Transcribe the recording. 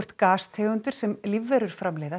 gastegundir sem lífverur framleiða